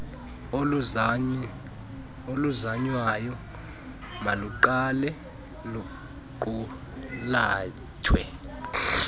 oluzanywayo maluqale luqulathwe